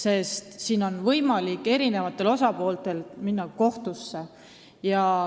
Eri osapooltel on võimalik minna kohtusse.